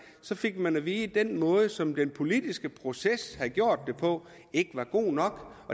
så fik man at vide at den måde som den politiske proces var blevet gjort det på ikke var god nok